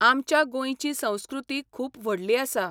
आमच्या गोंयची संस्कृती खूब व्हडली आसा.